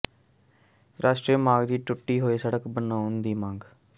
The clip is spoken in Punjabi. ਰਾਸ਼ਟਰੀ ਮਾਰਗ ਦੀ ਟੁੱਟੀ ਹੋਈ ਸੜਕ ਬਣਾਉਣ ਦੀ ਮੰਗ